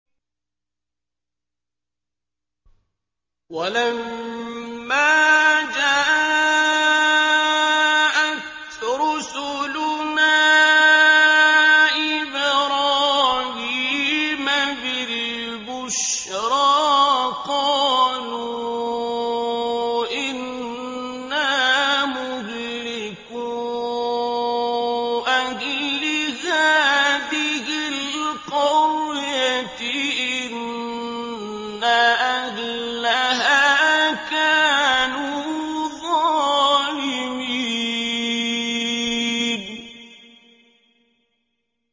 وَلَمَّا جَاءَتْ رُسُلُنَا إِبْرَاهِيمَ بِالْبُشْرَىٰ قَالُوا إِنَّا مُهْلِكُو أَهْلِ هَٰذِهِ الْقَرْيَةِ ۖ إِنَّ أَهْلَهَا كَانُوا ظَالِمِينَ